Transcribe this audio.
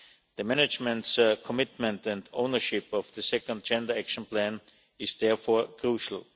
The management's commitment and ownership of the second Gender Action Plan is therefore crucial.